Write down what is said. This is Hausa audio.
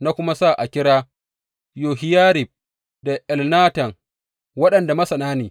Na kuma sa a kira Yohiyarib da Elnatan waɗanda masana ne.